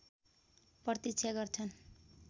प्रतीक्षा गर्छन्